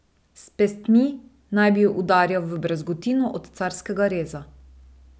S pestmi naj bi jo udarjal v brazgotino od carskega reza.